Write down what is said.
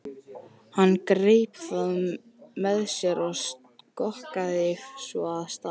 Hann greip það með sér og skokkaði svo af stað.